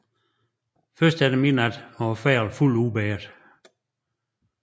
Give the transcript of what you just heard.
Først efter midnat var fejlen fuldt udbedret